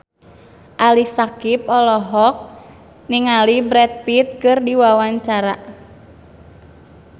Ali Syakieb olohok ningali Brad Pitt keur diwawancara